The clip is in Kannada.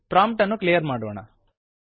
ಪ್ರಾಂಪ್ಟ್ ಅನ್ನು ಕ್ಲಿಯರ್ ಮಾಡೋಣ